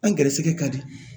An ga garisɛgɛ ka di